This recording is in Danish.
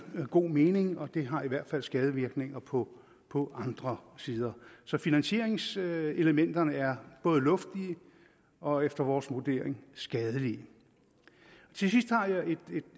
god mening og det har i hvert fald skadevirkninger på på andre sider så finansieringselementerne er både luftige og efter vores vurdering skadelige til sidst har jeg et